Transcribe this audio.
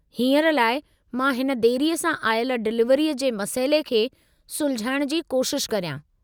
हींअर लाइ, मां हिन देरीअ सां आयल डिलिवरीअ जे मसइले खे सुलझाइणु जी कोशिश करियां।